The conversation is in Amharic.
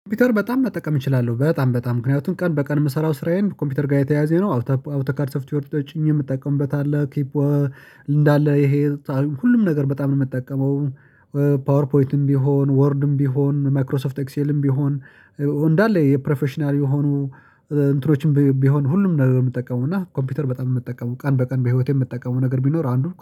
ኮምፒውተር በጣም መጠቀም እችላለሁ በጣም በጣም ምክንያቱም ቀን በቀን የምሰራው ስራዬን ኮምፒውተር ጋር የተያያዘ ነው። አውቶካርትስ ሶፍትዌሮችን ተጨኝ የምትጠቀምበት አለ ኪፕ እንዳለ ይሄ ሁሉም ነገር በጣም ነው የምጠቀመው። ፓወር ፖይትም ቢሆን ወርድም ቢሆን ማክሮሶፍት ኤክሴልም ቢሆን። እንዳለ የፕሮፌሽናል የሆኑ እንትኖችም ቢሆን ሁሉም ነገር የምጠቀመው እና ኮምፒውተር በጣም የምጠቀመው ቀን በቀን በህይወቴ የምጠቀመው ነገር ቢኖር አንዱ